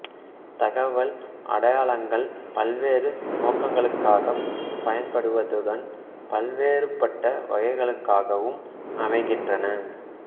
தகவல் அடையாளங்கள் பல்வேறு நோக்கங்களுக்காகப் பயன்படுவதுடன் பல்வேறுபட்ட வகைகளாகவும் அமைகின்றன